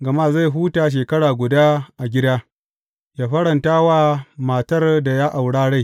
Gama zai huta shekara guda a gida, yă faranta wa matar da ya aura rai.